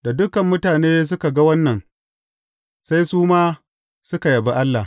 Da dukan mutane suka ga wannan, sai su ma suka yabi Allah.